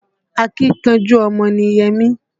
Akínkanjú ọmọ ni Yẹmí